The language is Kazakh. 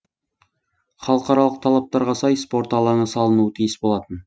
халықаралық талаптарға сай спорт алаңы салынуы тиіс болатын